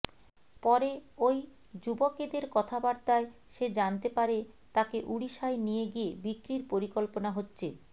পরে ওই যুবকেদের কথাবার্তায় সে জানতে পারে তাকে ওড়িশায় নিয়ে গিয়ে বিক্রির পরিকল্পনা হচ্ছে